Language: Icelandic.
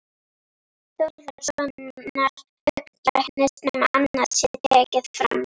Þórðarsonar augnlæknis, nema annað sé tekið fram.